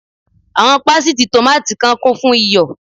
Àwọn pásítìì tòmáátì kan kún fún iyọ̀.